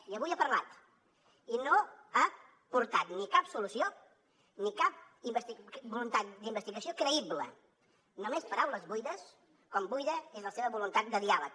i avui ha parlat i no ha portat ni cap solució ni cap voluntat d’investigació creïble només paraules buides com buida és la seva voluntat de diàleg